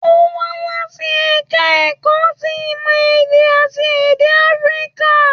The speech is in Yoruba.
Ó wá láti ẹ̀ka ẹ̀kọ́ ti ìmọ̀ èdè àti èdè áfíríkà